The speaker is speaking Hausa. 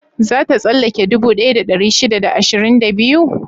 Za ta tsallake dubu ɗaya da ɗari shida da ashirin da biyu?